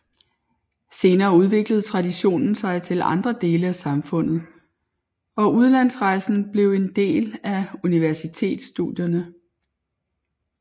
Senere udviklede traditionen sig til andre dele af samfundet og udlandsrejsen blev en del af universitetsstudierne